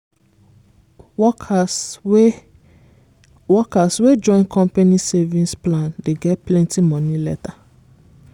workers wey workers wey join company savings plan dey get plenty money later.